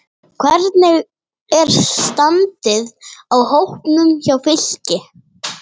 Hvernig er standið á hópnum hjá Fylki?